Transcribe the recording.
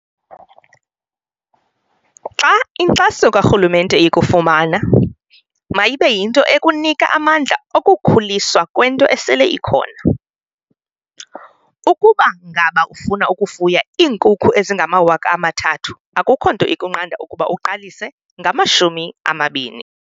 "Xa inkxaso karhulumente ikufumana, mayibe yinto ekunika amandla okukhuliswa kwento esele ikhona. Ukuba ngaba ufuna ukufuya iinkukhu ezingama-3 000, akukho nto inokunqanda ukuba uqalise ngama-20."